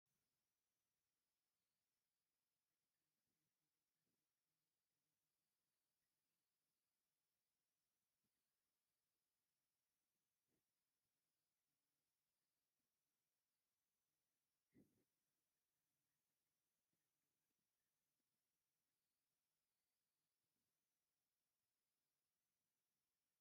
ኣብዚ ክልተ ደቂ ኣንስትዮ ፍሉይ ኣፍሪካዊ ቅዲ ዘለዎ ምርኢት ፋሽን ኣብ ቅድመ ምርኢት ይርኣያ። ክልቲኦም ጻዕዳ መጋረጃ ዝመስል ክዳን ተኸዲኖም ሕብራዊን ጌጣጌጥ ተኸዲኖም ዳይናሚክ ስእላዊ ኣቀራርባ ይፈጥሩ። ክልተ ምሩፃት ኣቀራርባታት፡ ብባህላዊ ጽባቐ ዝተሰለሙ፡ ብጻዕዳ ዝረአ እዩ።